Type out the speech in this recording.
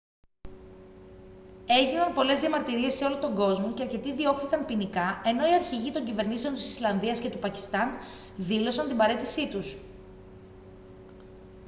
έγιναν πολλές διαμαρτυρίες σε όλο τον κόσμο και αρκετοί διώχθηκαν ποινικά ενώ οι αρχηγοί των κυβερνήσεων της ισλανδίας και του πακιστάν δήλωσαν την παραίτησή τους